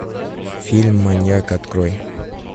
фильм маньяк открой